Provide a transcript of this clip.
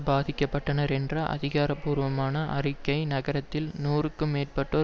பாதிக்க பட்டனர் என்ற அதிகாரபூர்வமான அறிக்கை நகரத்தில் நூறுக்கும் மேற்பட்டோர்